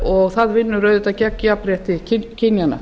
og það vinnur auðvitað gegn jafnrétti kynjanna